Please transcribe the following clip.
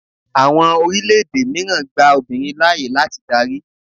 Àwọn orílẹ̀-èdè mìíràn gba obìnrin láàyè láti darí.